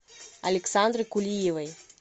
александры кулиевой